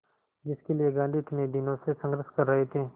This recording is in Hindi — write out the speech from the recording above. जिसके लिए गांधी इतने दिनों से संघर्ष कर रहे थे